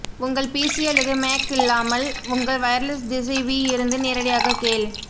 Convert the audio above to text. உங்கள் பிசி அல்லது மேக் இல்லாமல் உங்கள் வயர்லெஸ் திசைவி இருந்து நேரடியாக கேள்